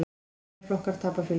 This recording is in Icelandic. Aðrir flokkar tapa fylgi.